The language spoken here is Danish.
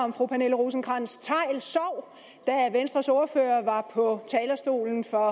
om fru pernille rosenkrantz theil sov da venstres ordfører var på talerstolen for